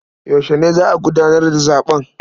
Yaushe ne za a gudanar da zaɓen?